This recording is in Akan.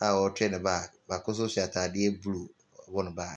a ɔretwe ne bag, baako nso hyɛ atadeɛ blue wɔ he bag.